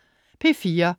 P4: